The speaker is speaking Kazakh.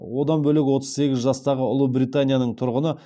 одан бөлек отыз сегіз жастағы ұлыбританияның тұрғыны